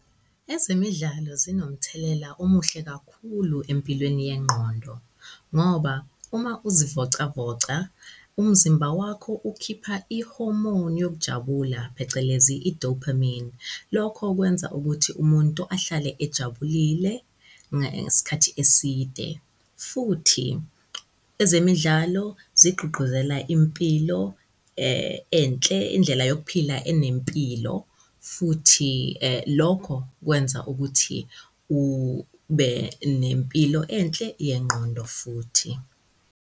Ezemidlalo zinomthelela omuhle kakhulu empilweni yengqondo ngoba uma uzivocavoca, umzimba wakho ukhipha i-hormone yokujabula phecelezi i-dopamine. Lokho kwenza ukuthi umuntu ahlale ejabulile ngesikhathi eside, futhi ezemidlalo zigqugquzela impilo enhle indlela yok'phila enempilo futhi lokho kwenza ukuthi ube nempilo enhle yengqondo futhi.